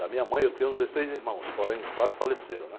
Da minha mãe eu tenho dezesseis irmãos, porém quatro faleceram, né?